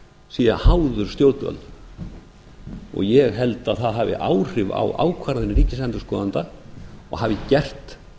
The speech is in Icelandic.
sé háður stjórnvöldum og ég held að það hafi áhrif á ákvarðanir ríkisendurskoðanda og hafi gert